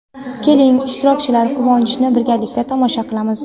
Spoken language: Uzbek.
Keling, ishtirokchilar quvonchini birgalikda tomosha qilamiz!.